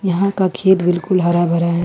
यहां का खेत बिल्कुल हरा भरा है।